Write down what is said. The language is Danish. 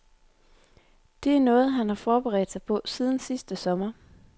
Det er noget, han har forberedt sig på siden sidste sommer.